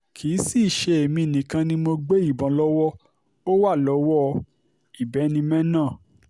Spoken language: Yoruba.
kì í sì í ṣe èmi nìkan ni mo gbé ìbọn lọ́wọ́ ó wà lọ́wọ́ ìbínimẹ́ náà